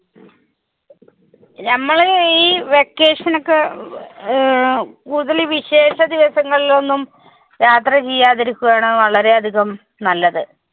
നമ്മള് ഈ vacation ഒക്കെ അഹ് കുടുതലും ഈ വിശേഷ ദിവസങ്ങളിൽ ഒന്നും യാത്ര ചെയ്യാതിരിക്കുകയാണ് വളരെ അധികം നല്ലത്.